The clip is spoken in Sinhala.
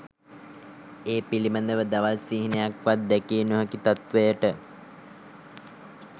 ඒ පිළිබඳ දවල් සිහිනයක්වත් දැකිය නොහැකි තත්ත්වයට